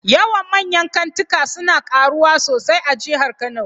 Yawan manyan kantika suna karuwa sosai a jihar Kano